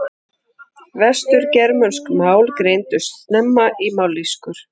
Vestur-germönsk mál greindust snemma í mállýskur.